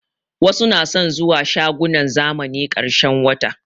Wasu na son zuwa shagunan zamani ƙarshen wata